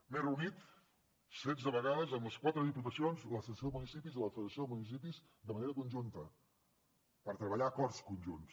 m’he reunit setze vegades amb les quatre diputacions l’associació de municipis i la federació de municipis de manera conjunta per treballar acords conjunts